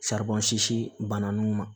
bana nunnu ma